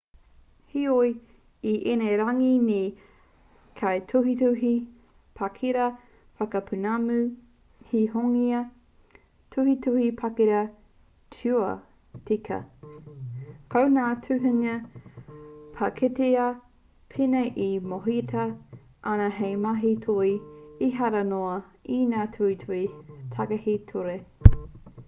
heoi i ēnei rangi nei he kaituhituhi pakitara whakapūmau he hinonga tuhituhi pakitara ture tika ko ngā tuhinga pakitara pēnei e mōhiotia ana hei mahi toi ehara noa i ngā tuhituhi takahi ture